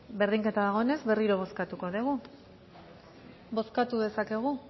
berdinketa dagoenez berriro bozkatuko dugu bozkatu dezakegu